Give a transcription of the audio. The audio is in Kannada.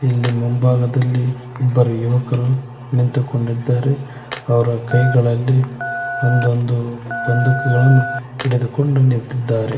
ಇಲ್ಲಿ ಮುಂಭಾಗದಲ್ಲಿ ಇಬ್ಬರು ಯುವಕರು ನಿಂತುಕೊಂಡಿದ್ದಾರೆ ಅವರ ಕೈಗಳಲ್ಲಿ ಒಂದೊಂದು ಬಂದೂಕುಗಳನ್ನು ಹಿಡಿದುಕೊಂಡು ನಿಂತಿದ್ದಾರೆ.